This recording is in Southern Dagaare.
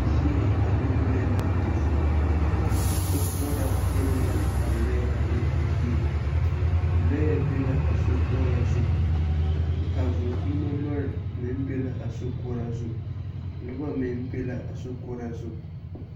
Yie ane lɔɛ a di vũũ. Sokoɔraa peɛle la a lɔɛ ane a yie. Lɔɛ be la a sokoɔraa zu. A vũũ-pkinime lɔɛ meŋ be la a sokoɔraa zu. Nobɔ meŋ be la a sokoɔraa zu.